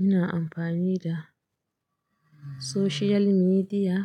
Ina amfani da social media,